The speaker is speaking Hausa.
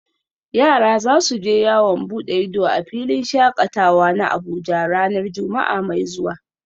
Yara za su je yawon bude ido a filin shakatawa na Abuja ranar Juma’a mai zuwa